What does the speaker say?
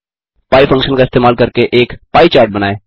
pie function का इस्तेमाल करके एक पाई चार्ट बनाएँ